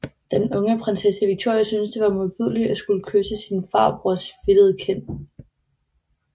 Den unge prinsesse Victoria syntes det var modbydeligt at skulle kysse sin farbrors fedtede kind